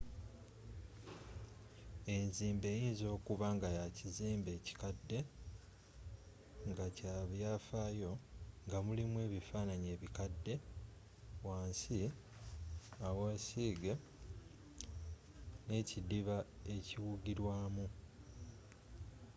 enzimba eyinza okuba nga ya kizimbe kikadde nga kya byaffaayo nga mulimu ebifaananyi ebikadde wansi awa siige n'ekidiba ekiwugirwamu